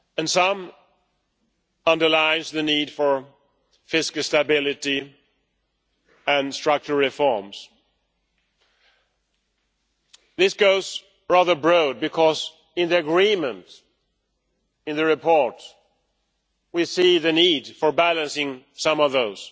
Some underlined the need for fiscal stability and structural reforms. This goes rather broad, because in the agreement in the report we see the need for balancing some of those.